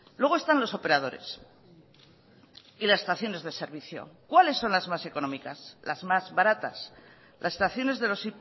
luego están los operadores y las estaciones de servicio cuáles son las más económicas las más baratas las estaciones de los